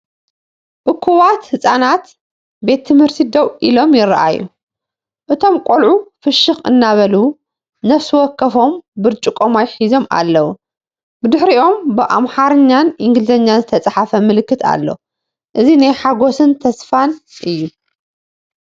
እኩባት ህጻናት ቤት ትምህርቲ ደው ኢሎም ይረኣዩ። እቶም ቆልዑ ፍሽኽ እናበሉ ነፍሲ ወከፎም ብርጭቆ ማይ ሒዞም ኣለዉ። ብድሕሪኦም ብኣምሓርኛን እንግሊዝኛን ዝተጻሕፈ ምልክት ኣሎ። እዚ ናይ ሓጎስን ተስፋን እዩ።